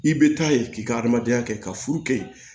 I bɛ taa ye k'i ka adamadenya kɛ ka furu kɛ